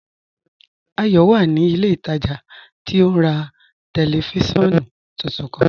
Ayọ wà ní ilẹ̀ ìtajà tí ó n rà tẹlifísiọ̀nù tuntun kan.